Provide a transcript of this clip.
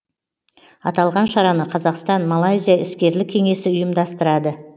аталған шараны қазақстан малайзия іскерлік кеңесі ұйымдастырады